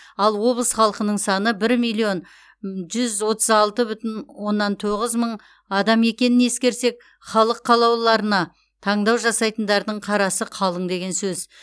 ал облыс халқының саны бір миллион жүз отыз алты бүтін оннан тоғыз мың адам екенін ескерсек халық қалаулыларына таңдау жасайтындардың қарасы қалың деген сөз